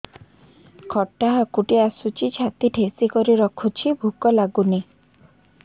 ଖଟା ହାକୁଟି ଆସୁଛି ଛାତି ଠେସିକରି ରଖୁଛି ଭୁକ ଲାଗୁନି